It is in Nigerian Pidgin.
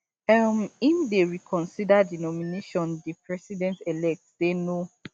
um im dey reconsider di nomination di presidentelect say no